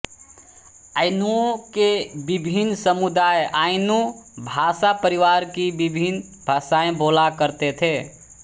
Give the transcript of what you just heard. आइनूओं के विभिन्न समुदाय आइनू भाषापरिवार की विभिन्न भाषाएँ बोला करते थे